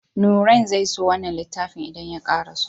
Nurain zai so wannan littafin idan ya karaso.